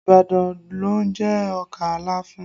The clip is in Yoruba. Ibadan ló ń jẹ ọkà láfún